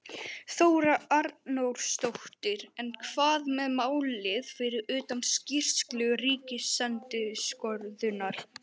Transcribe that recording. Þóra Arnórsdóttir: En hvað með málið fyrir utan skýrslu ríkisendurskoðunar?